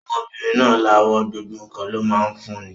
Ọmọbìnrin náà lawọ́, gbogbo ǹkan ló máa ń fún ni.